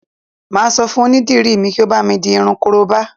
Mà á sọ fún onídìrí mi kí ó bámi di irun korobá